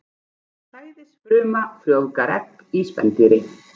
Sæðisfruma frjóvgar egg í spendýri.